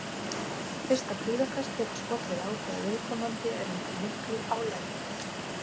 Fyrsta kvíðakast getur skollið á þegar viðkomandi er undir miklu álagi.